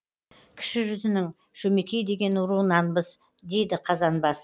кіші жүзінің шөмекей деген руынанбыз дейді қазанбас